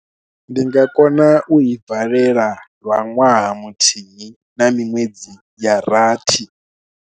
Ndi nga kona u i valela lwa ṅwaha muthihi, na miṅwedzi ya rathi.